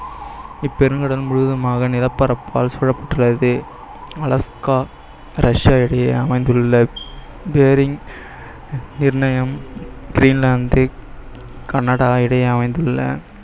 இப்பெருங்கடல் முழுவதுமாக நிலப்பரப்பால் சூழப்பட்டுள்ளது அலஸ்க்கா ரஷ்யா இடையே அமைந்துள்ள bearing நிர்ணயம் கிரீன்லாந்து கனடா இடையே அமைந்துள்ள